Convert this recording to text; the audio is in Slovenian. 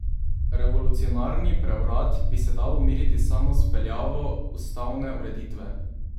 Revolucionarni prevrat bi se dalo umiriti samo z vpeljavo ustavne ureditve.